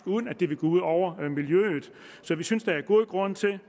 uden at det ville gå ud over miljøet så vi synes der er god grund til det